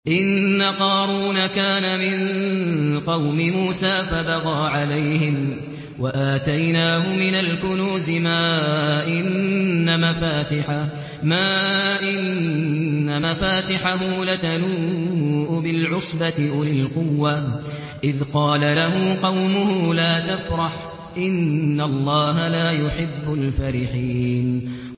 ۞ إِنَّ قَارُونَ كَانَ مِن قَوْمِ مُوسَىٰ فَبَغَىٰ عَلَيْهِمْ ۖ وَآتَيْنَاهُ مِنَ الْكُنُوزِ مَا إِنَّ مَفَاتِحَهُ لَتَنُوءُ بِالْعُصْبَةِ أُولِي الْقُوَّةِ إِذْ قَالَ لَهُ قَوْمُهُ لَا تَفْرَحْ ۖ إِنَّ اللَّهَ لَا يُحِبُّ الْفَرِحِينَ